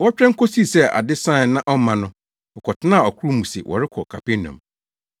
Wɔtwɛn kosii sɛ ade sae na ɔmma no, wɔkɔtenaa ɔkorow mu se wɔrekɔ Kapernaum.